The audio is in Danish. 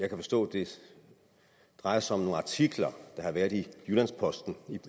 kan forstå det drejer sig om nogle artikler der har været i jyllands posten